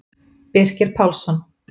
Birkir Pálsson